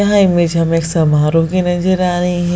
यह इमेज हमें समारोह की नजर आ रही है।